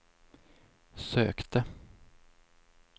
sökte